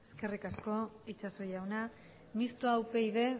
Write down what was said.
eskerrik asko itxaso jauna mistoa upyd